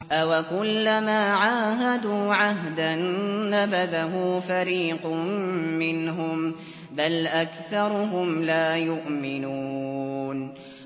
أَوَكُلَّمَا عَاهَدُوا عَهْدًا نَّبَذَهُ فَرِيقٌ مِّنْهُم ۚ بَلْ أَكْثَرُهُمْ لَا يُؤْمِنُونَ